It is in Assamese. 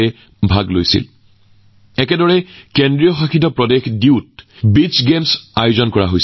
মই সুখী যে আজি ভাৰতত এনেধৰণৰ নতুন প্লেটফৰ্ম অবিৰতভাৱে গঢ় দিয়া হৈছে যত খেলুৱৈসকলে নিজৰ সম্ভাৱনা দেখুৱাবলৈ সুযোগ লাভ কৰিছে